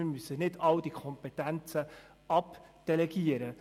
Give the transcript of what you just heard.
Wir sollten nicht alle Kompetenzen wegdelegieren.